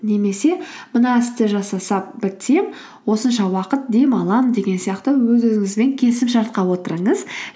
немесе мына істі бітсем осынша уақыт демаламын деген сияқты өз өзіңізбен келісімшартқа отырыңыз